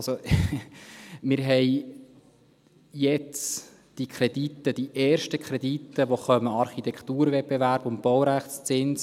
Wir haben jetzt die ersten Kredite, die kommen, Architekturwettbewerb und Baurechtszins.